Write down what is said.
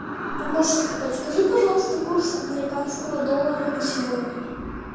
помощник подскажи пожалуйста курс американского доллара на сегодня